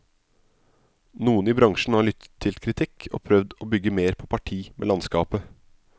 Noen i bransjen har lyttet til kritikk og prøvd å bygge mer på parti med landskapet.